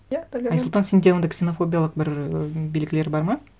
иә айсұлтан сенде ондай ксенофобиялық бір ы белгілер бар ма